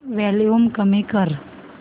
volume कमी कर